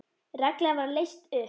Reglan var leyst upp.